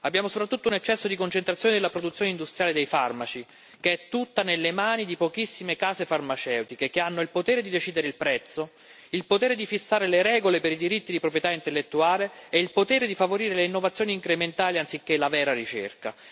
Abbiamo soprattutto un eccesso di concentrazione nella produzione industriale dei farmaci, che è tutta nelle mani di pochissime case farmaceutiche che hanno il potere di decidere il prezzo, il potere di fissare le regole per i diritti di proprietà intellettuale e il potere di favorire le innovazioni incrementali anziché la vera ricerca.